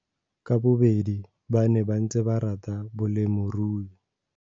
Ka bobedi ba ne ba ntse ba rata bolemirui.